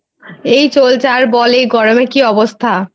এই চলছে ,আর বল এই গরমে কি অবস্থা?